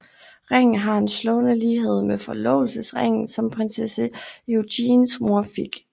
Ringen har en slående lighed med forlovelsesringen som prinsesse Eugenies mor fik